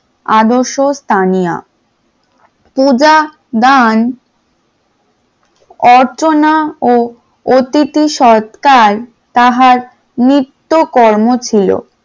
আদর্শ স্থানীয় পূজা গান, অর্চনা ও অতিথি সৎকার তাহার নিত্যকর্ম ছিল।